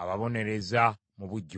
ababonereza mu bujjuvu.